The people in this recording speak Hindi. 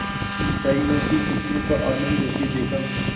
की मिठाइयों की खूशबू का आनंद लेते देखा